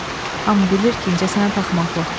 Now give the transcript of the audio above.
Hamı bilir ki, incəsənət axmaqlıqdır.